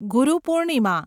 Guru Purnima